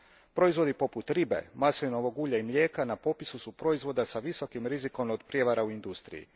Proizvodi poput ribe, maslinovog ulja i mlijeka na popisu su proizvoda s visokim rizikom od prijevara u industriji.